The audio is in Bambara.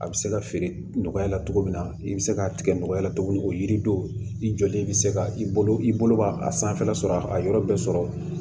A bɛ se ka feere nɔgɔya la cogo min na i bɛ se k'a tigɛ nɔgɔ la cogo min o yiri do i jɔlen bɛ se ka i bolo i bolo b'a a sanfɛla sɔrɔ a yɔrɔ bɛɛ sɔrɔ